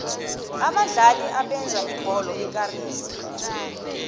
abadlali abenza ibholo ikarise